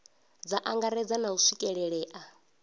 dza angaredza na u swikelelea